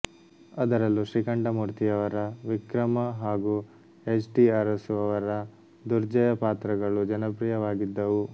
ಅದರಲ್ಲೂ ಶ್ರೀಕಂಠಮೂರ್ತಿಯವರ ವಿಕ್ರಮ ಹಾಗೂ ಎಚ್ ಟಿ ಅರಸು ಅವರ ದುರ್ಜಯ ಪಾತ್ರಗಳು ಜನಪ್ರಿಯವಾಗಿದ್ದವು